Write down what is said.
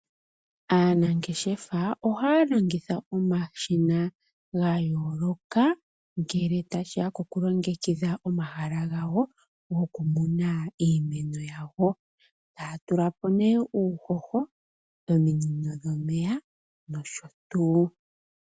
Aanangeshefa ohaya longitha omashina ga yooloka ngele tashiya koku longekidha omahala gawo goku muna iimeno yawo tatula po ne uuhoho ominino dhomeya nosho tuu.